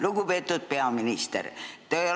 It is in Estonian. Lugupeetud peaminister!